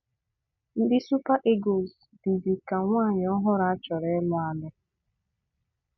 Ndị Super Eagles dịzị ka nwunye ọhụrụ a chọrọ ịlụ alu